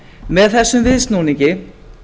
með þessum viðsnúningi